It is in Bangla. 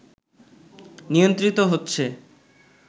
নিয়ন্ত্রিত হচেছ